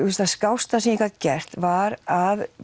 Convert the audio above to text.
það skásta sem ég gat gert var að